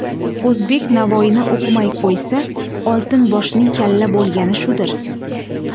O‘zbek Navoiyni o‘qimay qo‘ysa, Oltin boshning kalla bo‘lgani shudir.